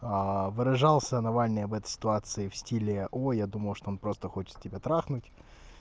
выражался навальный в этой ситуации в стиле о я думал что он просто хочет тебя трахнуть